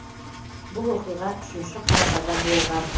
бұл оқиға үшінші қарашада болған